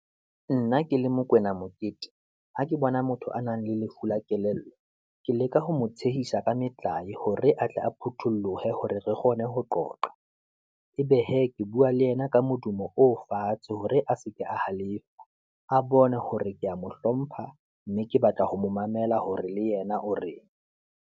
Nna ke le Mokwena Mokete, ha ke bona motho a nang le lefu la kelello, ke leka ho mo tshehisa ka metlae hore atle a phutholohe, hore re kgone ho qoqa. Ebe hee, ke bua le yena ka modumo o fatshe hore a seke a halefa a bone hore ke ya mo hlompha, mme ke batla ho mo mamela hore le yena o reng.